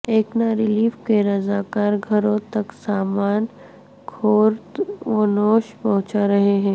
اکنا relief کے رضاکار گھروں تک سامان خورد ونوش پہنچارہے ہیں